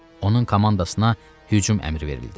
Onun komandasına hücum əmri verildi.